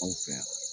Anw fɛ yan